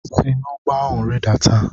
Si n'ụgbọ ahụ rịdata!